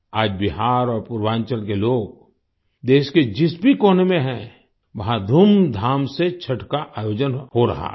आज बिहार और पूर्वांचल के लोग देश के जिस भी कोने में हैं वहाँ धूमधाम से छठ का आयोजन हो रहा है